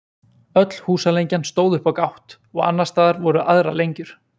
öll húsalengjan stóð upp á gátt og annars staðar voru aðrar lengjur